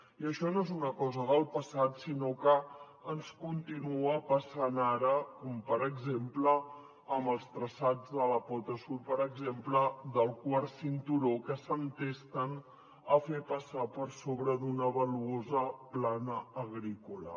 i això no és una cosa del passat sinó que ens continua passant ara com per exemple amb els traçats de la pota sud per exemple del quart cinturó que s’entesten a fer passar per sobre d’una valuosa plana agrícola